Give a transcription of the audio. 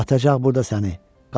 Atacaq burda səni.